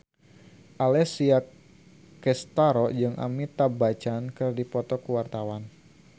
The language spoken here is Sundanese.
Alessia Cestaro jeung Amitabh Bachchan keur dipoto ku wartawan